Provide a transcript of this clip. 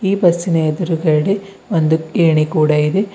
ಈ ಬಸ್ಸಿ ನ ಎದುರುಗಡೆ ಒಂದು ಏಣಿ ಕೂಡ ಇದೆ.